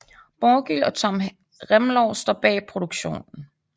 Borgil og Tom Remlov står bag produktionen